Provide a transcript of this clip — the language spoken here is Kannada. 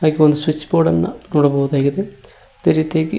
ಒಂದು ಸ್ವಿಚ್ ಬೋರ್ಡ್ ಅನ್ನ ನೋಡಬಹುದಾಗಿದೆ ಅದೇ ರೀತಿಯಾಗಿ--